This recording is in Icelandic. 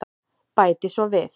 Bæti svo við.